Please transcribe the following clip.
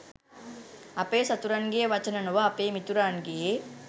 අපේ සතුරන්ගේ වචන නොව අපේ මිතුරන්ගේ